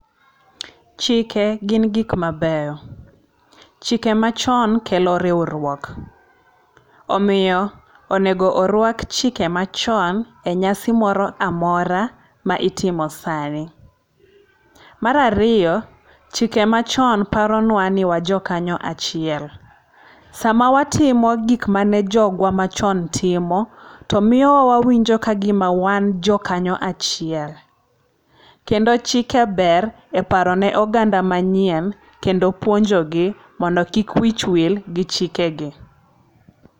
Chike gin gik mabeyo. Chike machon kelo riwruok. Omiyo onego orwak chike machon e nyasi moro amora ma itimo sani. Mar ariyo, chike machon paronwa ni wajokanya achiel. Sama watimo gik mane jogwa machon timo, tomiyo wawinjo kagima wan jo kanyo achiel. Kendo chike ber e paro ne oganda manyien kendo puonjogi mondo kik wich wil gi chike gi.